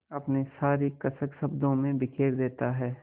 अपनी सारी कसक शब्दों में बिखेर देता है